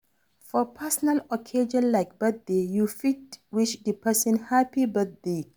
For personal occassion like birthday, you fit wish di person happy birthday